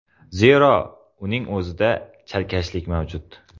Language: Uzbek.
Zero, uning o‘zida chalkashlik mavjud.